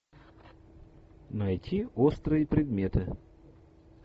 найти острые предметы